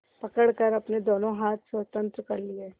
पकड़कर अपने दोनों हाथ स्वतंत्र कर लिए